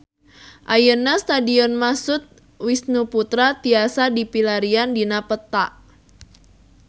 Ayeuna Stadion Mashud Wisnusaputra tiasa dipilarian dina peta